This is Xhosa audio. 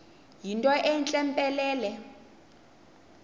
yinto entle mpelele